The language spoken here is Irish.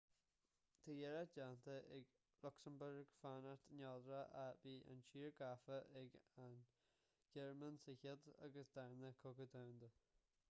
tá iarracht déanta ag lucsamburg fanacht neodrach ach bhí an tír gafa ag an ghearmáin sa chéad agus sa dara cogadh domhanda